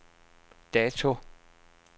dato